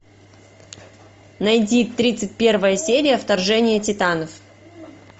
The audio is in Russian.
найди тридцать первая серия вторжение титанов